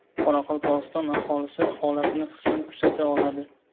Qoraqalpog‘iston aholisi holatni qisman kuzata oladi .